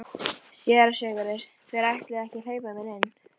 SÉRA SIGURÐUR: Þeir ætluðu ekki að hleypa mér inn.